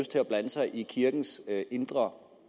til at blande sig i kirkens indre